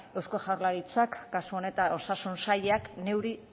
eusko jaurlaritzak kasu honetan osasun sailak